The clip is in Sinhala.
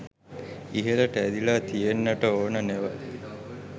ඉහළට ඇදිලා තියෙන්ට ඕන නෙව.